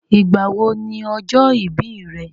Ìgbà wo ni ọjọ́ ìbí rẹ̀?